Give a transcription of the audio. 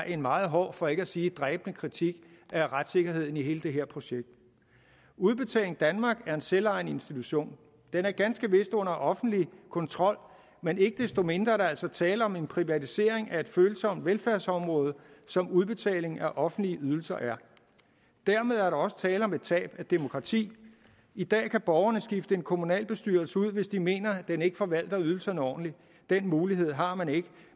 en meget hård for ikke at sige dræbende kritik af retssikkerheden i hele det her projekt udbetaling danmark er en selvejende institution den er ganske vist under offentlig kontrol men ikke desto mindre er der altså tale om en privatisering af et følsomt velfærdsområde som udbetaling af offentlige ydelser er dermed er der også tale om et tab af demokrati i dag kan borgerne skifte en kommunalbestyrelse ud hvis de mener den ikke forvalter ydelserne ordentligt den mulighed har man ikke